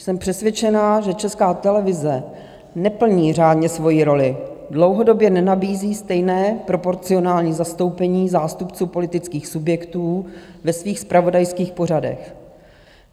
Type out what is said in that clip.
Jsem přesvědčena, že Česká televize neplní řádně svoji roli, dlouhodobě nenabízí stejné proporcionální zastoupení zástupců politických subjektů ve svých zpravodajských pořadech.